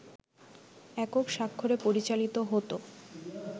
একক স্বাক্ষরে পরিচালিত হত